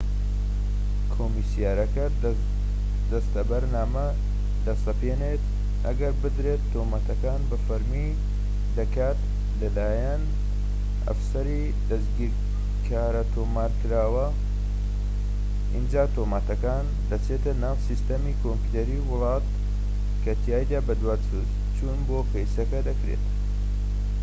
کۆمسیارەکە دەستەبەرنامە دەسەپێنێت ئەگەر بدرێت تۆمەتەکان بە فەرمی دەکات کە لە لایەن ئەفسەری دەستگیرکارەوە تۆمارکراوە ئینجا تۆمەتەکان دەچێتە ناو سیستەمی کۆمپیۆتەری وڵات کە تیایدا بەدواداچوون بۆ کەیسەکە دەکرێت